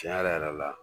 Tiɲɛ yɛrɛ yɛrɛ la